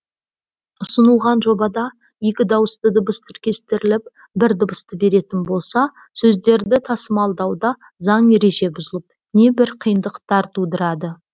ұсынылған жобада екі дауысты дыбыс тіркестіріліп бір дыбысты беретін болса сөздерді тасымалдауда заң ереже бұзылып небір қиындықтар тудырады